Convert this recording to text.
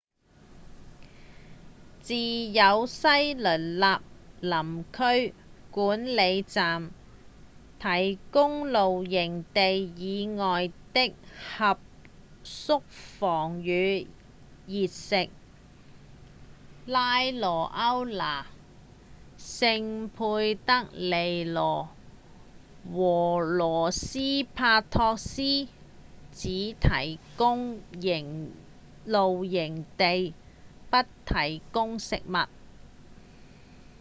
只有西雷納林區管理站提供露營地以外的合宿房與熱食拉萊歐那、聖佩德里羅和洛斯帕托斯只提供露營地不提供食物